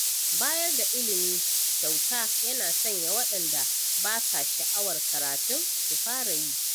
Bayar da ilimi ƙyauta yana sanya waɗanda ba sa sha'awar karatun su fara yi.